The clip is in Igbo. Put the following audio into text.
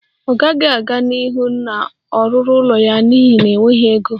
Ọ gaghị aga n'ihu na-ọrụrụ ụlọ ya n'ihi enweghị ego